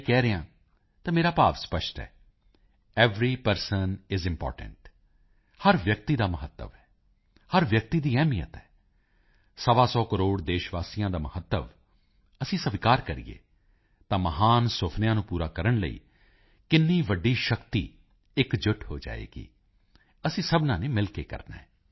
ਕਹਿ ਰਿਹਾ ਹਾਂ ਤਾਂ ਮੇਰਾ ਭਾਵ ਸਪੱਸ਼ਟ ਹੈ ਐਵਰੀ ਪਰਸਨ ਆਈਐਸ ਇੰਪੋਰਟੈਂਟ ਹਰ ਵਿਅਕਤੀ ਦਾ ਮਹੱਤਵ ਹੈ ਹਰ ਵਿਅਕਤੀ ਦੀ ਅਹਿਮੀਅਤ ਹੈ ਸਵਾ ਸੌ ਕਰੋੜ ਦੇਸ਼ ਵਾਸੀਆਂ ਦਾ ਮਹੱਤਵ ਅਸੀਂ ਸਵੀਕਾਰ ਕਰੀਏ ਤਾਂ ਮਹਾਨ ਸੁਪਨਿਆਂ ਨੂੰ ਪੂਰਾ ਕਰਨ ਲਈ ਕਿੰਨੀ ਵੱਡੀ ਸ਼ਕਤੀ ਇਕਜੁੱਟ ਹੋ ਜਾਵੇਗੀ ਅਸੀਂ ਸਭਨਾਂ ਨੇ ਮਿਲ ਕੇ ਕਰਨਾ ਹੈ